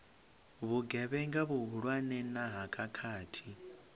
vhugevhenga vhuhulwane na ha khakhathi